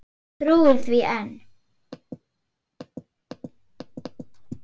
Trúir því enn.